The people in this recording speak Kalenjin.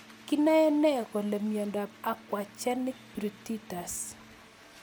Kinae nee kole miondop aquagenic pruritus